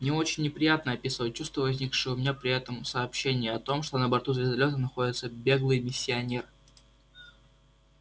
мне очень неприятно описывать чувства возникшие у меня при этом сообщении о том что на борту звездолёта находится беглый миссионер